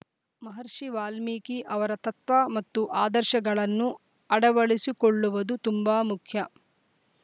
ಮಹರ್ಷಿ ವಾಲ್ಮೀಕಿ ಅವರ ತತ್ವ ಮತ್ತು ಆದರ್ಶಗಳನ್ನು ಅಡವಡಿಸಿಕೊಳ್ಳುವುದು ತುಂಬಾ ಮುಖ್ಯ